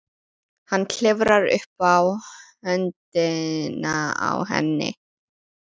Hann klifrar upp á höndina á henni.